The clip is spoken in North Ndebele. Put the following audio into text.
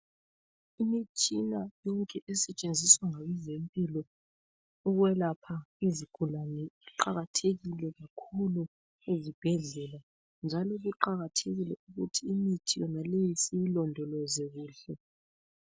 Imitshina yonke esetshenziswa ngabezempilo ukwelapha izigulani iqakathekile kakhulu ezibhedlela njalo kuqakathekile ukuthi imithi yonaleyi siyilondoloze kuhle.